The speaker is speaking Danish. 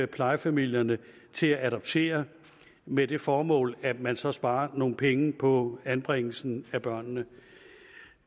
plejefamilierne til at adoptere med det formål at man så sparer nogle penge på anbringelsen af børnene